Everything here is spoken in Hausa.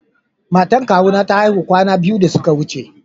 Matan kawu na ta aihu kwana biyu ta ya wuce.